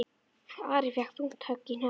Ari fékk þungt högg í hnakkann.